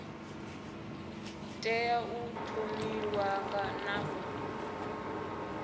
tea u thonifhiwa na u